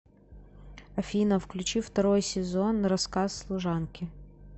афина включи второй сезон рассказ служанки